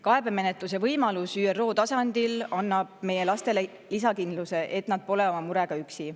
Kaebemenetluse võimalus ÜRO tasandil annab meie lastele lisakindluse, et nad pole oma murega üksi.